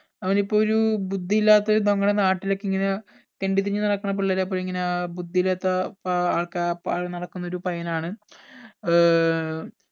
അവനിപ്പോ ഒരു ബുദ്ധി ഇല്ലാത്ത ഒരു നമ്മുടെ നാട്ടിലൊക്കെ ഇങ്ങനെ തെണ്ടി തിരിഞ്ഞ് നടക്കണ പിള്ളേരെ പോലെ ഇങ്ങന ബുദ്ധി ഇല്ലാത്ത ഏർ ആൾക്കാരെ പോലെ നടക്കുന്ന ഒരു പയ്യനാണ് ഏർ